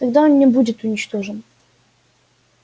тогда он не будет уничтожен